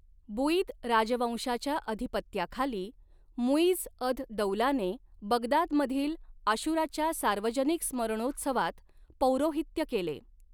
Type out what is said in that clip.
Buyid राजवंशाच्या अधिपत्याखाली, मु'इझ अद दौलाने बगदादमधील आशुराच्या सार्वजनिक स्मरणोत्सवात पौरोहित्य केले.